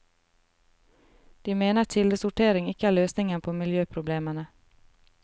De mener kildesortering ikke er løsningen på miljøproblemene.